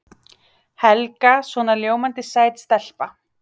Helga svona ljómandi sæt stelpa.